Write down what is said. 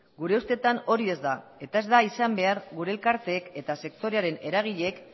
gure ustetan hori ez da eta ez da izan behar gure elkarteek eta sektorearen eragileek